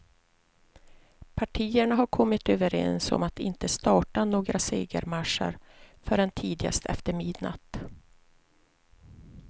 Partierna hade kommit överens om att inte starta några segermarscher förrän tidigast efter midnatt.